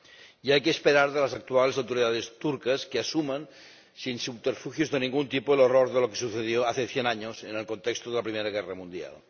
Y hay que esperar de las actuales autoridades turcas que asuman, sin subterfugios de ningún tipo, el horror de lo que sucedió hace cien años, en el contexto de la Primera Guerra Mundial.